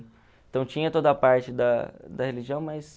Então, tinha toda a parte da da religião, mas...